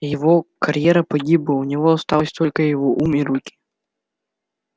его карьера погибла у него остался только его ум и руки